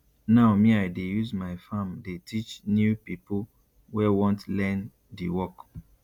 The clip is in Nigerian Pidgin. now me i dey use my farm dey teach new pipo wey want learn di work